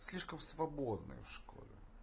слишком свободной в школе